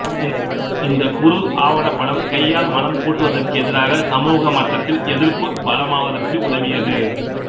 இந்தக் குறு ஆவணப் படம் கையால் மலம் கூட்டுவதற்கு எதிராக சமூக மட்டத்தில் எதிர்ப்பு பலமாவதற்கு உதவியது